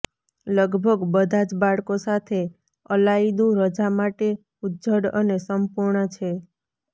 લગભગ બધા જ બાળકો સાથે અલાયદું રજા માટે ઉજ્જડ અને સંપૂર્ણ છે